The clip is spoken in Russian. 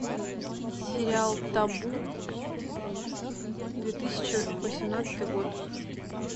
сериал табу две тысячи восемнадцатый год